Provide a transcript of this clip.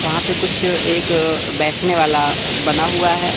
वहां पे कुछ एक अ बैठने वाला अ बना हुआ है।